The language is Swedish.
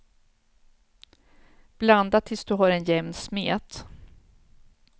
Blanda tills du har en jämn smet.